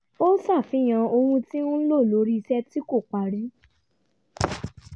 ó ṣàfihàn ohun tí ń lọ lórí iṣẹ́ tí kò parí